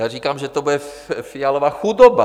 Já říkám, že to bude Fialova chudoba.